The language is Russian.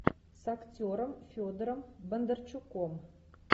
с актером федором бондарчуком